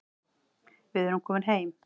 Við erum komin heim